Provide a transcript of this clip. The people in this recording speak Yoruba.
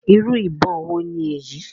Irú ìbọn wo ni èyí?